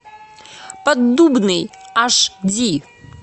поддубный аш ди